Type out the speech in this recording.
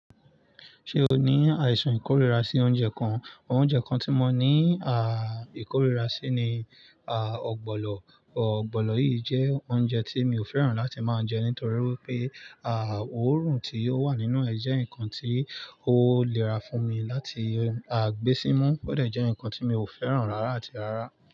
Ṣé o ní àìsàn ìkóríra sí òunje kan? Oúnjẹ kan tí mo ní ìkóríra sí ni ogbọ̀lọ̀. Ọ̀gbọ̀nọ̀ yìí jẹ́ oúnjẹ tí mi ò fẹ́ràn láti máa jẹ nítorí pé óòrùn tí ó wà nínú ẹ̀ jẹ́ ǹkan tí ó nira fún mi láti gbé sí imu o dẹ̀ jẹ́ ǹkan tí mi ò fẹ́ràn rárá àti rárá.